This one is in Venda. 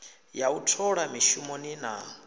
ya u thola mishumoni na